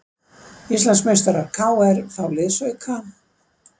Íslandsmeistarar KR fá liðsauka